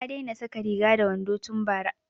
Ta daina saka wando da riga tun bara